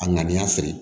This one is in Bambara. A ŋaniya feere